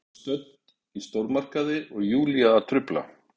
En Lena er stödd í stórmarkaði og Júlía að trufla.